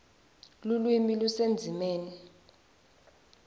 lulwimi lusendzimeni